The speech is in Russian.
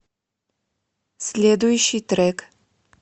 следующий трек